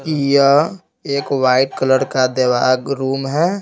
यह एक white colour का देवाग रूम है।